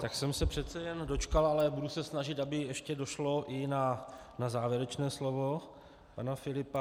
Tak jsem se přece jen dočkal, ale budu se snažit, aby ještě došlo i na závěrečné slovo pana Filipa.